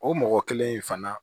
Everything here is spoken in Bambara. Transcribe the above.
O mɔgɔ kelen in fana